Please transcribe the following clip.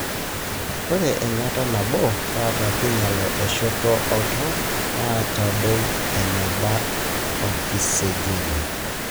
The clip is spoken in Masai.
Ata eyangata enaboo kata kinyial eoshoto oltau na nitadou enabaa oksijen.